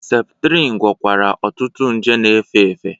Septrin gwọkwara ọtụtụ nje na-efe efe.